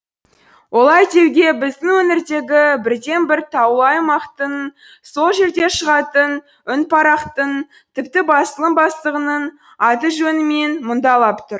олай деуге біздің өңірдегі бірден бір таулы аймақтың сол жерде шығатын үнпарақтың тіпті басылым бастығының аты жөні мен мұңдалап тұр